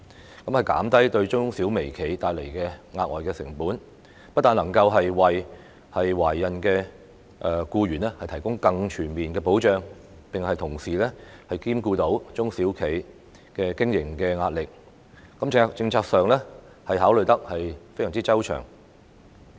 這樣可以減低對中小微企帶來的額外成本，不但能夠為懷孕僱員提供更全面的保障，並同時能兼顧中小企經營的壓力，在政策上，考慮得非常周詳。